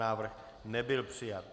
Návrh nebyl přijat.